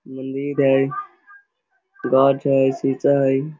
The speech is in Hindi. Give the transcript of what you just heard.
मंदिर है गाछ है सीसा है।